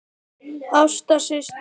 Ásta systir.